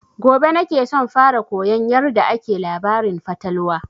Gobe na ke son fara koyan yarda ake labarin fatalwa